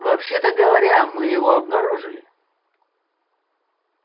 вообще-то говоря мы его обнаружили